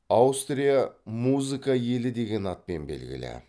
аустрия музыка елі деген атпен белгілі